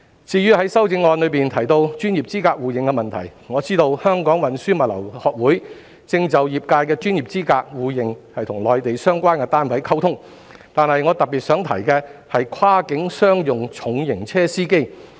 至於在修正案中提到專業資格互認的問題，我知道香港運輸物流學會正就業界的專業資格互認與內地相關單位溝通，但我特別想提的是跨境商用重型車司機。